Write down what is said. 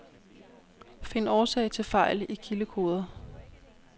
Find årsag til fejl i kildekoder.